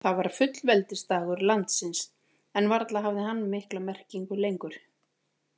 Það var fullveldisdagur landsins, en varla hafði hann mikla merkingu lengur.